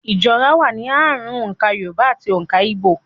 Ìjọra wà ní ààrùn òǹkà Yorùbá ati òǹkà Igbó.